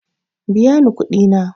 Biya ni kuɗi na.